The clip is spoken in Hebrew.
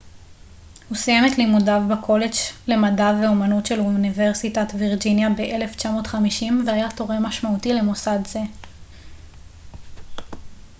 הוא סיים את לימודיו בקולג' למדע ואמנות של אוניברסיטת וירג'יניה ב-1950 והיה תורם משמעותי למוסד זה